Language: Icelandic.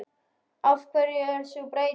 Af hverju er sú breyting?